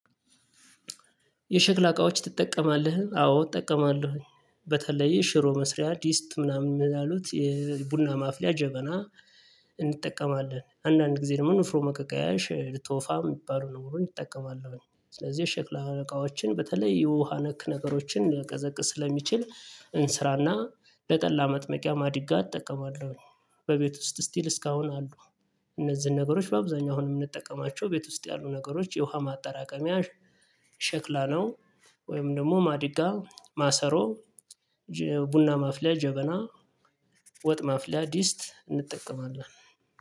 የሸክላ እቃዎች ትጠቀማለህ አዎ እጠቀማለሁኝ በተለይ ሽሮ መስሪያ ዲስት ምናምን ያሉት የቡና ማፍለያ ጀበና። እንጠቀማለን አንዳንድ ጊዜ ደግሞ ኑፍሮ መቀቀያሽ ልትወፋ የሚባሉ ነገሮችን እጠቀማለሁኝ ስለዚህ ሸክላ እቃዎችን በተለይ የውሃ ነክ ነገሮችን ላቀዘቅዝ ስለሚችል እንስራና ለጠላ መጥመቂያ ማዲጋ እጠቀማለሁ። በቤት ውስጥ ስቲል እስካሁን አሉ። እነዚህን ነገሮች በአብዛኛው አሁን የምንጠቀማቸው ቤት ውስጥ ያሉ ነገሮች የውሃ ማጠራቀሚያ ሸክላ ነው። ወይም ደግሞ ማዲጋ ማሰሮ። ቡና ማፍልያ ጀበና። ወጥ ማፍለድ ዲስት እንጠቀማለን።